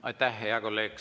Aitäh, hea kolleeg!